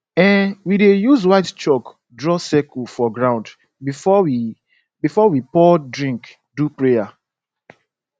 um we dey use white chalk draw circle for ground before we before we pour drink do prayer